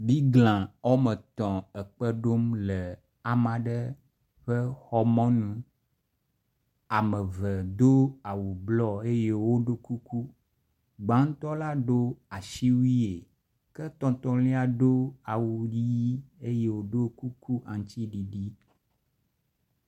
biglã ɔmetɔ̃ aɖe le kpeɖom ɖe amaɖe ƒe xɔ mɔnu ameve do awu blɔ eye woɖó kuku gbaŋtɔ la ɖo asiwuie ke tɔtɔlia ɖo awu yi eye woɖó kuku aŋtsiɖiɖi